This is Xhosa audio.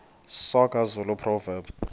soga zulu proverbs